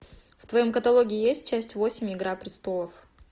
в твоем каталоге есть часть восемь игра престолов